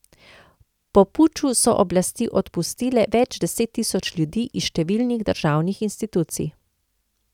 Po puču so oblasti odpustile več deset tisoč ljudi iz številnih državnih institucij.